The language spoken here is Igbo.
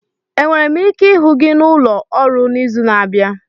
Enwere m ike ịhụ gị n'ụlọ ọrụ n'izu na-abịa?